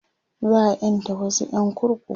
za'a ƴanta wasu ƴan kurkuku